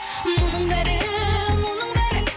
мұның бәрі мұның бәрі